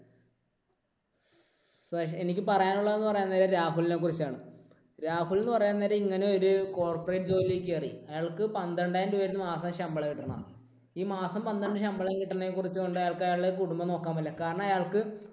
എനിക്ക് പറയാനുള്ളത് എന്ന് പറയാൻ നേരം രാഹുലിനെ കുറിച്ചാണ്. രാഹുൽ എന്ന് പറയാൻ നേരം ഇങ്ങനെ ഒരു corporate ജോലിയിൽ കയറി. അയാൾക്ക് പന്ത്രണ്ടായിരം രൂപയായിരുന്നു മാസം ശമ്പളം കിട്ടുന്നത്. ഈ മാസം പന്ത്രണ്ട് ശമ്പളം കിട്ടുന്നത് കൊടുത്തു കൊണ്ട് അയാൾക്ക് അയാളുടെ കുടുംബം നോക്കാൻ പറ്റില്ല. കാരണം അയാൾക്ക്